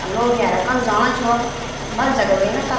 अ लोग यारा कण जाणा छि वख भल जगह वे न तब।